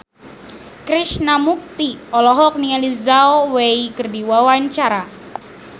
Krishna Mukti olohok ningali Zhao Wei keur diwawancara